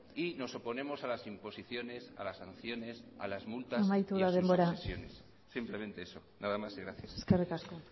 y nos oponemos a las imposiciones a las sanciones a las multas amaitu da denbora y a sus obsesiones simplemente eso nada más y gracias eskerrik asko